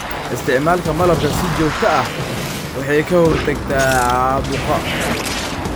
Isticmaalka malabka si joogto ah waxa ay ka hortagtaa caabuqa.